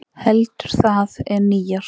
Heldur það en nýársnótt.